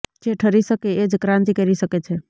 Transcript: જે ઠરી શકે એ જ ક્રાંતિ કરી શકે છે